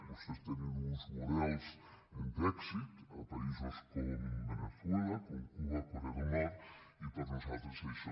vostès tenen uns models d’èxit a països com veneçuela com cuba corea del nord i per nosaltres això